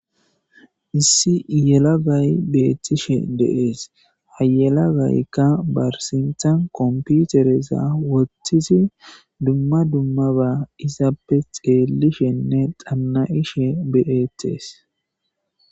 Issi yelagay beettishe de'ees. Ha yelagaykka barsinthan komputereza wottizi dumma dummaba isappe xeelishenne xanna'ishe de'eetes.